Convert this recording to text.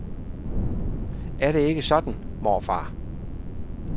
Er det ikke sådan, morfar?